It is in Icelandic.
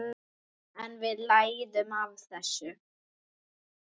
En við lærum af þessu.